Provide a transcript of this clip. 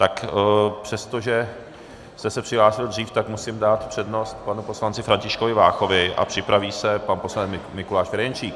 Tak přestože jste se přihlásil dřív, tak musím dát přednost panu poslanci Františkovi Váchovi a připraví se pan poslanec Mikuláš Ferjenčík.